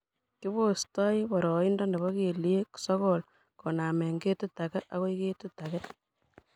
kibostoi boroindo nebo kelyek sokol konaame ketit age akoi age